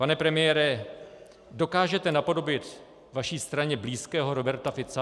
Pane premiére, dokážete napodobit vaší straně blízkého Roberta Fica?